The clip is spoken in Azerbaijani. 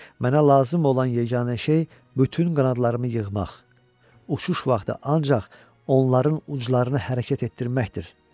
Mənə lazım olan yeganə şey bütün qanadlarımı yığmaq, uçuş vaxtı ancaq onların uclarını hərəkət etdirməkdir.